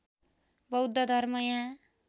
बौद्ध धर्म यहाँ